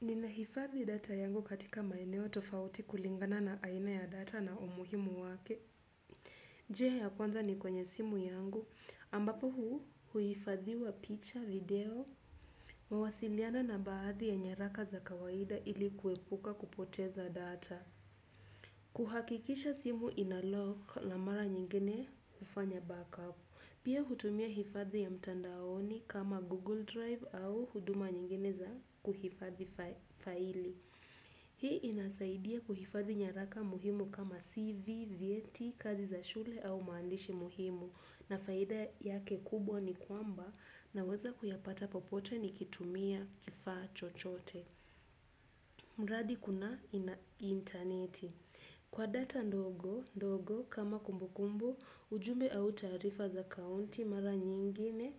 Ninahifadhi data yangu katika maeneo tofauti kulingana na aina ya data na umuhimu wake. Njia ya kwanza ni kwenye simu yangu, ambapo huifadhiwa picha, video, mawasiliano na baadhi ya nyaraka za kawaida ili kuepuka kupoteza data. Kuhakikisha simu inalock na mara nyingine hufanya backup. Pia hutumia hifadhi ya mtandaoni kama Google Drive au huduma nyingine za kuhifadhi faili. Hii inasaidia kuhifadhi nyaraka muhimu kama CV, vyeti, kazi za shule au maandishi muhimu na faida yake kubwa ni kwamba naweza kuyapata popote nikitumia kifaa chochote. Mradi kuna intaneti. Kwa data ndogo, kama kumbukumbu, ujumbe au taarifa za akaunti mara nyingine,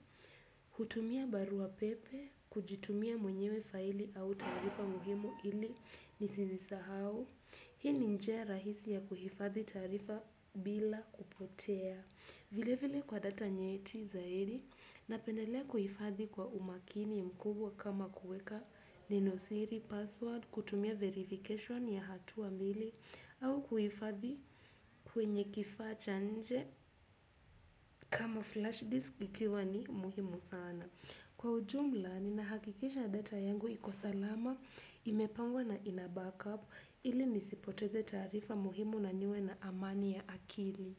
hutumia barua pepe, kujitumia mwenyewe faili au taarifa muhimu ili nisizisahau, hii ni njia rahisi ya kuhifadhi taarifa bila kupotea. Vile vile kwa data nyeti zaidi napendelea kuhifadhi kwa umakini mkubwa kama kuweka ninosiri password kutumia verification ya hatua mbili au kuhifadhi kwenye kifaa cha nje kama flash disk ikiwa ni muhimu sana. Kwa ujumla ninahakikisha data yangu iko salama imepangwa na ina backup ili nisipoteze taarifa muhimu na niwe na amani ya akili.